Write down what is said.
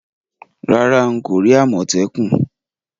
Rárá, n ko ri àmòtẹ́kùn